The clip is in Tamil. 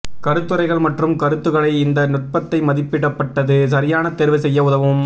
கருத்துரைகள் மற்றும் கருத்துக்களை இந்த நுட்பத்தை மதிப்பிடப்பட்டது சரியான தேர்வு செய்ய உதவும்